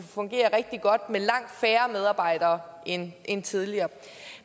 fungere rigtig godt med langt færre medarbejdere end end tidligere